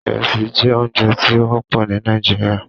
Ìrẹsì jẹ́ oúnjẹ tí ó wọ́pọ̀ ní Nàìjíríà